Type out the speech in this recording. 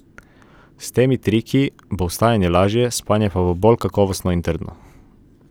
S temi triki bo vstajanje lažje, spanje pa bolj kakovostno in trdno.